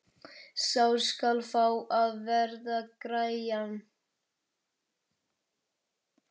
Sá skal fá að verða grænn!